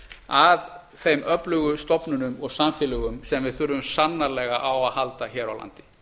að þeim öflugu stofnunum og samfélögum sem við þurfum sannarlega á að halda hér á landi